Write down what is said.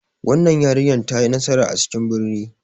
Wannan yarinyar ta yi nasara a cikin birni.